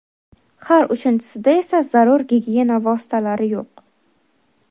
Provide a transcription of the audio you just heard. har uchinchisida esa zarur gigiyena vositalari yo‘q.